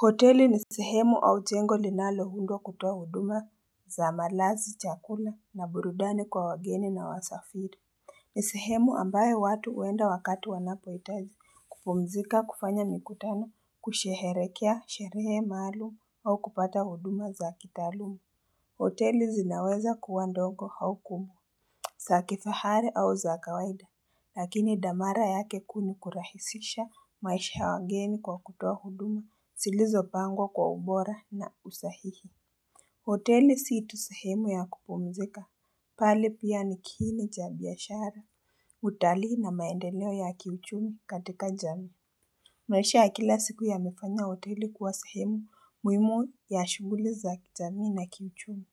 Hoteli ni sehemu au chengo linaloundwa kutoa huduma za malazi chakula na burudani kwa wageni na wasafiri ni sehemu ambaye watu uenda wakati wanapo itaji kupumzika kufanya mikutano kusheherekea sherehe maalum au kupata huduma za kitaalumu hoteli zinaweza kuwa dongo au kumbwa sa kifahari au za kawaida, lakini damara yake kuu ni kurahisisha maisha ya wageni kwa kutoa huduma zilizo pangwa kwa ubora na usahihi. Hoteli situ sehemu ya kupumzika, bali pia nikiini cha biashara, utalii na maendeleo ya kiuchumi katika jamii. Maisha ya kila siku yamefanya hoteli kuwa sahemu muhimu ya shughuli za jamii na kiuchumi.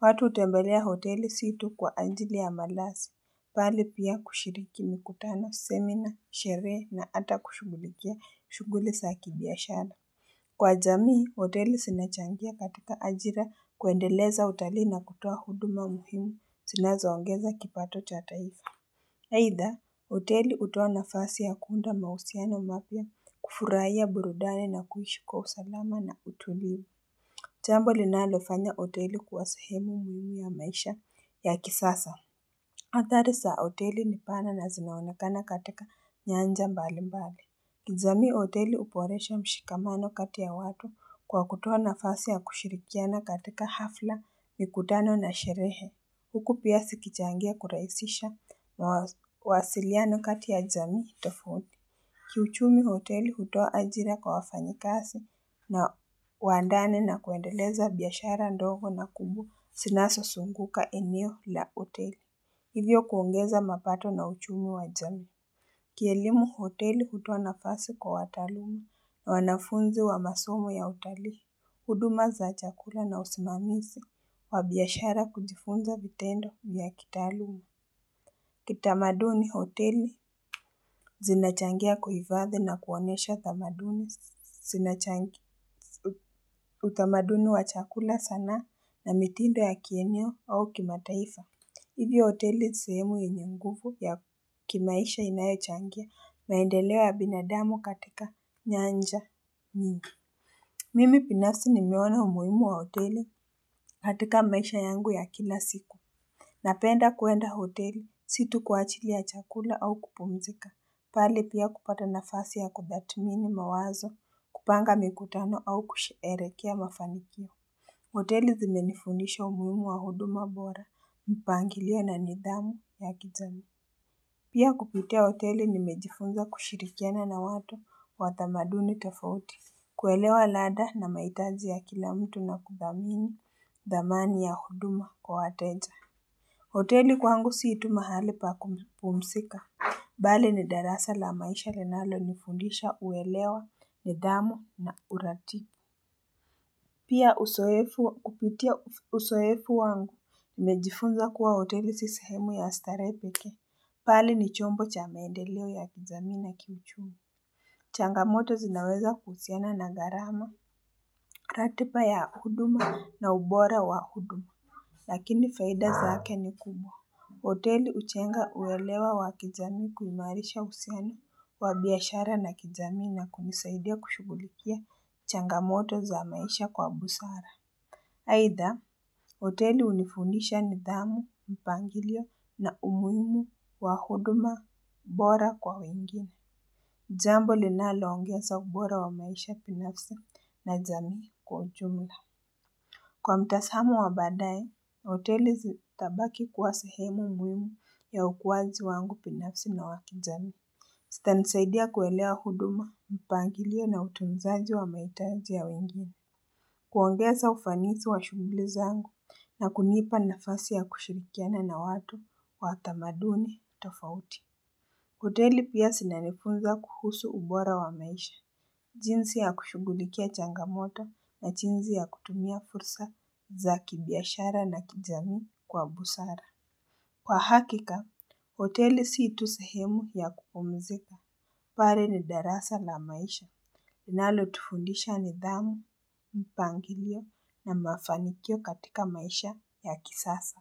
Watu utembelea hoteli situ kwa anjili ya malasi, bali pia kushiriki mikutano, semina, sherehe na ata kushugulikia shughuli sa kibiashara. Kwa jamii, hoteli zinachangia katika ajira kuendeleza utalii na kutoa huduma muhimu sinazoongeza kipato cha taifa. Haitha, hoteli utoa na fasi ya kuunda mausiano mapia kufurahia burudani na kuishi kwa usalama na utulivu. Jambo li nalofanya hoteli kuwa sehemu muhimi ya maisha ya kisasa Athari za hoteli ni pana na zinaonakana katika nyanja mbali mbali kijamii hoteli uporesha mshikamano kati ya watu kwa kutoa na fasi ya kushirikiana katika hafla mikutano na sherehe Huku pia sikichangia kurahisisha mawazo wasiliano kati ya jamii tofauti Kiuchumi hoteli hutoa ajira kwa wafanyikasi na wandane na kuendeleza biashara ndogo na kumbwa sinasosunguka eneo la hoteli. Hivyo kuongeza mapato na uchumi wajamii. Kielimu hoteli hutoa nafasi kwa wataalum na wanafunzi wa masomo ya utalii. Huduma za chakula na usimamisi wa biashara kujifunza vitendo ya kitaaluma. Kitamaduni hoteli zinachangia kuhifadhi na kuonesha utamaduni wa chakula sana na mitindo ya kienyo au kimataifa. Ivyo hoteli sehemu yenye nguvu ya kimaisha inayochangia maendeleo ya binadamu katika nyanja nyingi. Mimi pinafsi ni meona umuhimu wa hoteli katika maisha yangu ya kila siku. Napenda kwenda hoteli, situ kuachili ya chakula au kupumzika, pali pia kupata nafasi ya kubatmini mawazo, kupanga mikutano au kusherekea mafanikio. Hoteli zimenifundisha umuhimu wa huduma bora, mpangilio na nidhamu ya kijamii. Pia kupitia hoteli nimejifunza kushirikiana na watu wa thamaduni tofauti. Kuelewa lada na mahitaji ya kilamtu na kuthamini dhamani ya huduma kwa wateja. Hoteli kwangu sii tu mahali pa kupumsika, bali ni darasa la maisha linalo nifundisha uelewa, ni dhamu na urati. Kupitia usoefu wangu, nimejifunza kuwa hoteli sisehemu ya starehe pekee, pali ni chombo cha maendeleo ya kijamii na kiuchumi. Changamoto zinaweza kuhusiana na gharama, ratipa ya huduma na ubora wa huduma, lakini faida zake ni kubwa. Hoteli uchenga uelewa wa kijamii kuimarisha uhusiano wa biashara na kijamii na kunisaidia kushugulikia changamoto za maisha kwa busara. Haitha, hoteli unifundisha ni dhamu, mpangilio na umuhimu wa huduma bora kwa wengine. Jambo linalo ongeza ubora wa maisha pinafsa na jamii kwa jumla. Kwa mtasamo wa baadaye, hoteli zitabaki kuwa sehemu muhimu ya ukuaji wangu pinafsi na wakijamii. Sita nisaidia kuelewa huduma, mpangilio na utunzaji wa mahitaji ya wengine. Kuongeza ufanisi wa shughuli zangu na kunipa nafasi ya kushirikiana na watu wa tamaduni tofauti. Hoteli pia sinanifunza kuhusu ubora wa maisha jinsi ya kushughulikia changamoto na jinzi ya kutumia fursa za kibiashara na kijamii kwa busara Kwa hakika, hoteli siitu sehemu ya kupumzika pali ni darasa la maisha linalo tufundisha ni dhamu, mpangilio na mafanikio katika maisha ya kisasa.